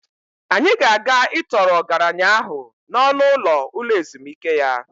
Anyị ga-aga ịtọọrọ ọgaranya ahụ n'ọnụ ụlọ ụlo ezumike ya.